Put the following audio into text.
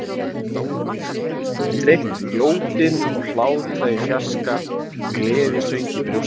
Hana hafði dreymt um jódyn og hlátra í fjarska, gleðisöng í brjósti sér.